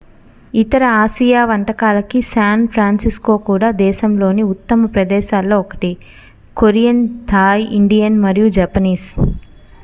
ఇతర ఆసియా వంటకాలకి San Francisco కూడా దేశంలోని ఉత్తమ ప్రదేశాలలో ఒకటి కొరియన్ థాయ్ ఇండియన్ మరియు జపనీస్